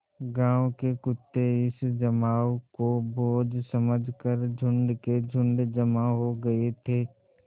गाँव के कुत्ते इस जमाव को भोज समझ कर झुंड के झुंड जमा हो गये थे